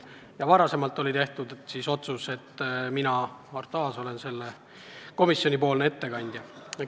Ja varem oli tehtud otsus, et mina, Arto Aas, olen selle eelnõu komisjonipoolne ettekandja.